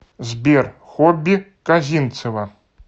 сбер хобби козинцева